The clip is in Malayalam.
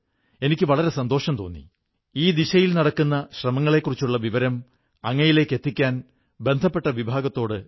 സുഹൃത്തുക്കളേ നാം ഉത്സവങ്ങളുടെ കാര്യം പറയുമ്പോൾ അതിനായി തയ്യാറെടുക്കുമ്പോൾ ആദ്യം മനസ്സിൽ വരുന്നത് എപ്പോഴാണ് ബസാറിലേക്കു പോകേണ്ടത് എന്നാണ്